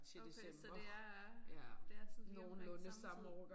Okay så det er øh det er sådan lige omkring samme tid